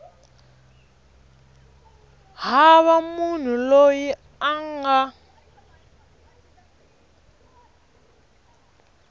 hava munhu loyi a nga